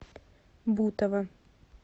бутова